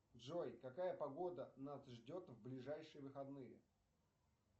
джой какая погода нас ждет в ближайшие выходные